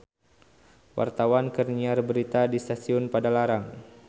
Wartawan keur nyiar berita di Stasiun Padalarang